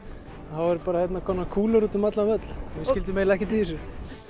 þá voru bara kúlur úti um allan völl við skildum eiginlega ekkert í þessu